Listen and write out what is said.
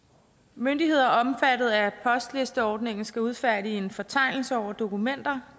myndigheder omfattet af postlisteordningen skal udfærdige en fortegnelse over dokumenter